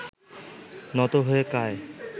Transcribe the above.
নত হয়ে কায়